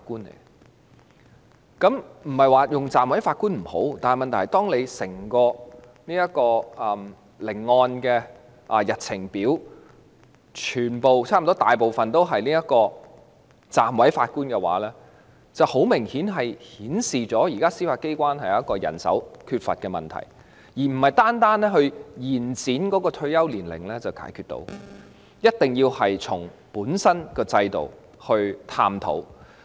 我不是說暫委法官不好，但問題是，當聆案日程表上全部或絕大部分都是暫委法官的話，便很明顯反映了現時司法機關缺乏人手的問題，這並非單靠延展退休年齡便能夠解決的，一定要從制度本身去探討這個問題。